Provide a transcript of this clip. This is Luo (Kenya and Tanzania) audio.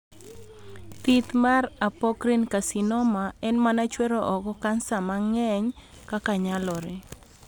Thith mar Apocrine carcinoma en mama chwero oko kansa mang'eny kaka nyalore.